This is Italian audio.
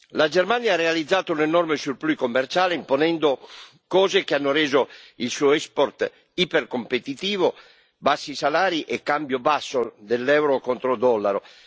La Germania ha realizzato un enorme surplus commerciale, imponendo cose che hanno reso il suo export ipercompetitivo, bassi salari e cambio basso dell'euro contro il dollaro.